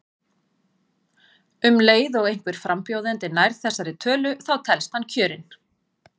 Um leið og einhver frambjóðandi nær þessari tölu þá telst hann kjörinn.